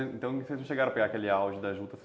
Então vocês não chegaram a pegar aquele auge da juta?